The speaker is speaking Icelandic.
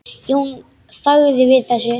Jón þagði við þessu.